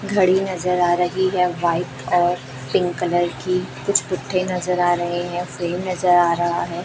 घड़ी नज़र आ रही है। व्हाइट और पिंक कलर की कुछ पुट्ठे नज़र आ रहे हैं। फ्रेम नज़र आ रहा है।